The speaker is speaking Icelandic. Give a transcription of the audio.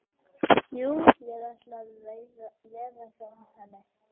Jú, ég ætla að veða hjá henni.